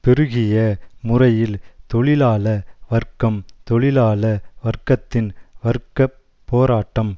பெருகிய முறையில் தொழிலாள வர்க்கம் தொழிலாள வர்க்கத்தின் வர்க்க போராட்டம்